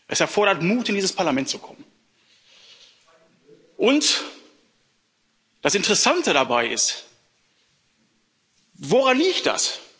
Es erfordert Mut, in dieses Parlament zu kommen, und das Interessante dabei ist Woran liegt das?